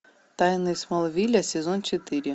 тайны смолвиля сезон четыре